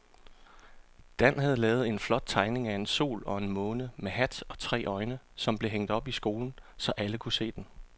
Dan havde lavet en flot tegning af en sol og en måne med hat og tre øjne, som blev hængt op i skolen, så alle kunne se den.